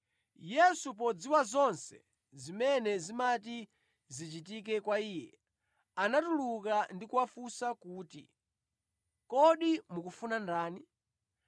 Yesu, podziwa zonse zimene zimati zichitike kwa Iye, anatuluka ndi kuwafunsa kuti, “Kodi mukufuna ndani?”